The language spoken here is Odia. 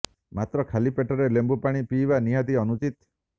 ମାତ୍ର ଖାଲି ପେଟରେ ଲେମ୍ବୁ ପାଣି ପିଇବା ନିହାତି ଅନୁଚିତ